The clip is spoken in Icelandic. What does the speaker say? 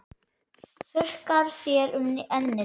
Þurrkar þér um ennið.